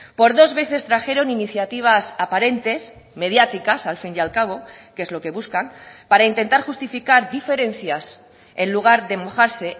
por dos veces trajeron iniciativas aparentes mediáticas al fin y al cabo que es lo que buscan para intentar justificar diferencias en lugar de mojarse